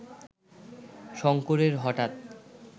শঙ্করের হঠাৎ